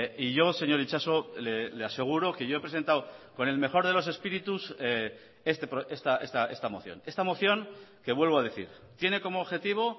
y yo señor itxaso le aseguro que yo he presentado con el mejor de los espíritus esta moción esta moción que vuelvo a decir tiene como objetivo